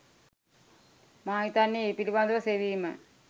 මා හිතනනේ ඒ පිළිබඳව සෙවීම